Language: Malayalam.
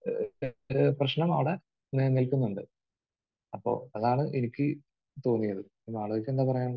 ഏഹ് പെട്ട് ...പ്രശ്നമാണ് നിലനിൽക്കുന്നുണ്ട്. അപ്പോൾ അതാണ് എനിക്ക് തോന്നിയത്. യ്ക്ക് എന്താണ് പറയാനുള്ളത്?